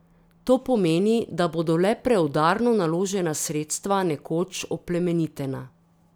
To pomeni, da bodo le preudarno naložena sredstva nekoč oplemenitena.